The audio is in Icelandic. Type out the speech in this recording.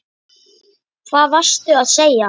Hvað varstu að segja?